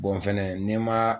fɛnɛ nɛ ma.